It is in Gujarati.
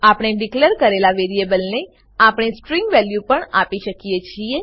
આપણે ડીકલેર કરેલા વેરીએબલને આપણે સ્ટ્રીંગ વેલ્યુ પણ આપી શકીએ છીએ